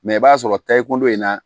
i b'a sɔrɔ ta i kundo in na